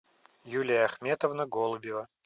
юлия ахметовна голубева